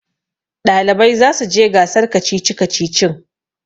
ɗalibai za su je gasar kacici-kacicin